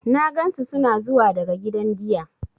Na gansu suna zuwa daga gidan giya.